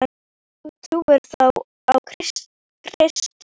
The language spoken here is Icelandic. En þú trúir þó á Krist?